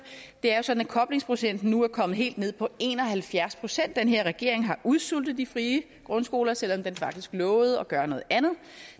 det er jo sådan at koblingsprocenten nu er kommet helt ned på en og halvfjerds procent den her regering har udsultet de frie grundskoler selv om den faktisk lovede at gøre noget andet og